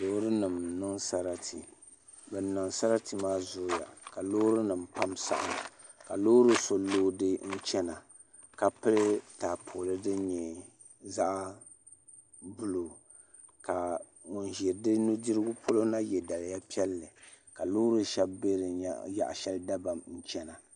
Loori nim n niŋ sarati bin niŋ sarati maa zooya ka loori nim pam saɣam ka loori so loodi n chɛna ka pili taapooli din nyɛ zaɣ buluu ka ŋun ʒi di nudirigu polo na yɛ daliya piɛlli ka loori shɛli bɛ di yaɣa shɛli dabam chɛna